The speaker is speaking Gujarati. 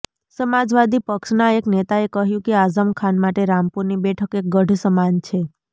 સમાજવાદી પક્ષના એક નેતાએ કહ્યું કે આઝમ ખાન માટે રામપુરની બેઠક એક ગઢ સમાન છે